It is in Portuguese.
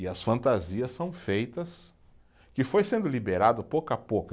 E as fantasias são feitas, que foi sendo liberado pouco a pouco.